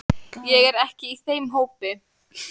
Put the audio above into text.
Ég er ekki í þeim hópi.